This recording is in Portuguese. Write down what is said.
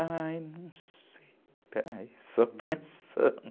Ai, não sei, peraí, só pensando.